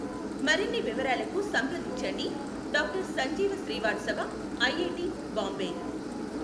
మరిన్ని వివరాలకు సంప్రదించండి, డాక్టర్ సంజీవ శ్రీవాత్సవ, ఐఐటి బాంబే.